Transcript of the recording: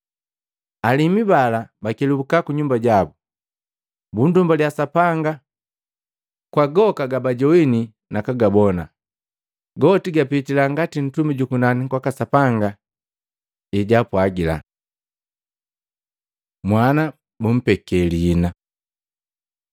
Alimu bala bakelubuka kunyumba jabu, bundumbalya Sapanga kwa goka gabajoana na kugabona, goti gapitila ngati ntumi jukunani kwaka Sapanga ejaapwagila. Mwana bumpeke lihina